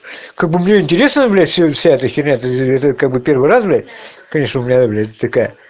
как бы мне интересная блять вся эта херня ты это как бы первый раз блять конечно у меня юлять такая